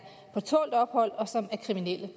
på tålt ophold og som er kriminelle